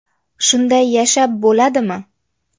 Shunday yashab bo‘ladimi?